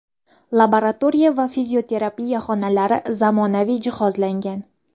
Laboratoriya va fizioterapiya xonalari zamonaviy jihozlangan.